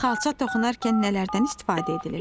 Xalça toxunarkən nələrdən istifadə edilir?